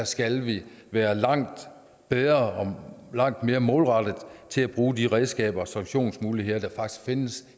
skal vi være langt bedre og langt mere målrettede i til at bruge de redskaber og sanktionsmuligheder der faktisk findes